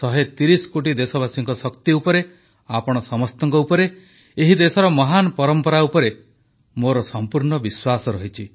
130 କୋଟି ଦେଶବାସୀଙ୍କ ଶକ୍ତି ଉପରେ ଆପଣ ସମସ୍ତଙ୍କ ଉପରେ ଏହି ଦେଶର ମହାନ ପରମ୍ପରା ଉପରେ ମୋର ସମ୍ପୂର୍ଣ୍ଣ ବିଶ୍ୱାସ ରହିଛି